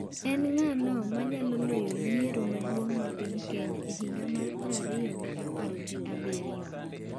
En ng'ano manyalo loyo yiero maduong' ma piny Kenya e higa mar prariyo gi apar gi abiryo?